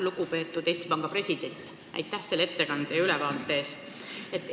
Lugupeetud Eesti Panga president, aitäh selle ettekande ja ülevaate eest!